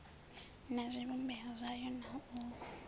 na zwivhumbeo zwayo na u